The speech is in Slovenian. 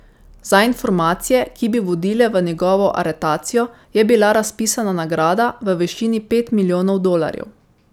Za informacije, ki bi vodile v njegovo aretacijo, je bila razpisana nagrada v višini pet milijonov dolarjev.